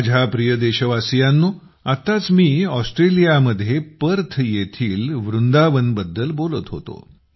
माझ्या प्रिय देशवासियांनो आताच मी ऑस्ट्रेलियामध्ये पर्थ येथील वृंदावनबद्दल बोलत होतो